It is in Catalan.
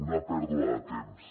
una pèrdua de temps